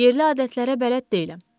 Yerli adətlərə bələd deyiləm.